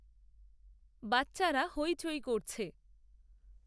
বাচ্চারা হৈচৈ করছে